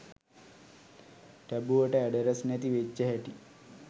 ටැබුවට address නැති වෙච්ච හැටි